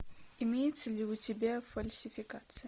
имеется ли у тебя фальсификация